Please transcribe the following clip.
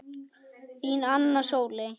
Þín, Anna Sóley.